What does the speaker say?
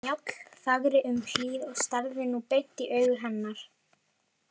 Njáll þagði um hríð og starði nú beint í augu hennar.